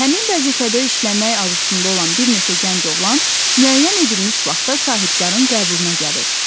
Həmin vəzifədə işləmək arzusunda olan bir neçə gənc oğlan müəyyən edilmiş vaxtda sahibkarın qəbuluna gəlir.